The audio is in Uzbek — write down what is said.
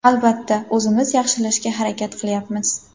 Albatta, o‘zimiz yaxshilashga harakat qilyapmiz.